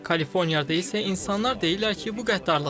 Kaliforniyada isə insanlar deyirlər ki, bu qəddarlıqdır.